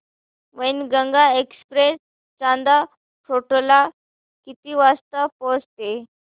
Wainganga express Chanda fort ला किती वाजता पोहचते